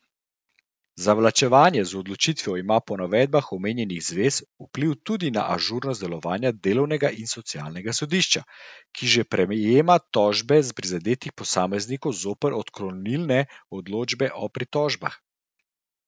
Zavlačevanje z odločitvijo ima po navedbah omenjenih zvez vpliv tudi na ažurnost delovanja Delovnega in socialnega sodišča, ki že prejema tožbe prizadetih posameznikov zoper odklonilne odločbe o pritožbah.